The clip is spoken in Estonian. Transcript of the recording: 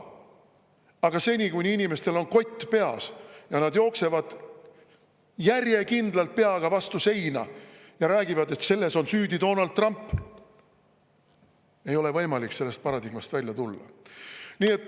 Aga seni, kuni inimestel on kott peas, kui nad jooksevad järjekindlalt peaga vastu seina ja räägivad, et selles on süüdi Donald Trump, ei ole võimalik sellest paradigmast välja tulla.